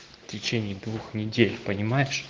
в течении двух недель понимаешь